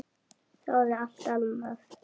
Þráði alltaf annað.